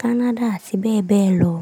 Kánádà àti bẹ́ẹ̀ bẹ́ẹ̀ lọ.